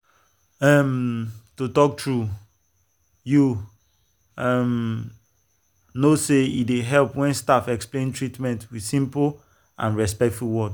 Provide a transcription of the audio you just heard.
um to talk true you um know say e dey help when staff explain treatment with simple and respectful words.